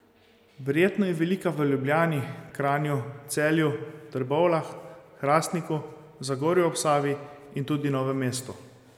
Verjetno je velika v Ljubljani, Kranju, Celju, Trbovljah, Hrastniku, Zagorju ob Savi in tudi Novem mestu.